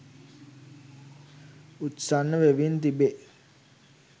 උත්සන්න වෙමින් තිබේ